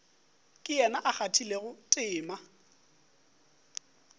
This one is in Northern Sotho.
ke yena a kgathilego tema